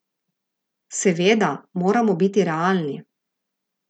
Seveda, moramo biti realni.